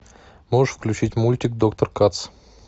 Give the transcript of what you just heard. можешь включить мультик доктор кац